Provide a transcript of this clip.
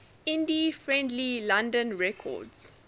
indie friendly london records